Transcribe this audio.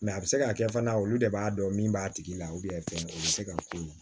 a bɛ se ka kɛ fana olu de b'a dɔn min b'a tigi la fɛn o bɛ se ka k'u ma